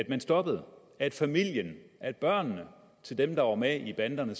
man stoppede at familien at børnene til dem der var med i banderne